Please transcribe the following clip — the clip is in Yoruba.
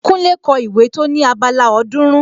Kúnlé kọ ìwé tó ní abala ọ̀ọ́dúrún